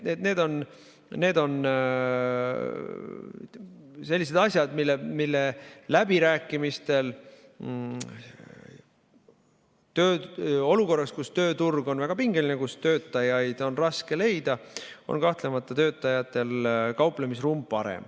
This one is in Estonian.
Need on sellised asjad, mille üle läbirääkimistel olukorras, kus tööturg on väga pingeline, kus töötajaid on raske leida, on töötajatel kahtlemata parem kauplemisruum.